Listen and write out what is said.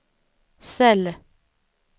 cell